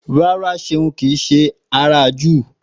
Rárá Ṣeun kìí ṣe Júù